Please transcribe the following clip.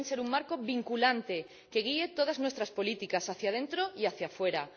Deben ser un marco vinculante que guíe todas nuestras políticas, hacia dentro y hacia fuera.